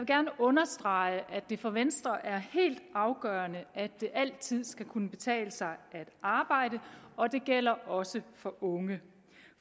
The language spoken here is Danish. gerne understrege at det for venstre er helt afgørende at det altid skal kunne betale sig at arbejde og det gælder også for unge